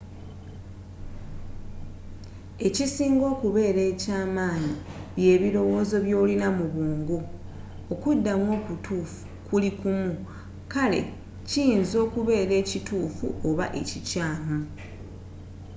ekisinga okubela ekyamanyi bye bilowozo byolina mu bwongo okuddamu okutufu kuli kumu kale kiyinza okubela ekitufu oba ekikyamu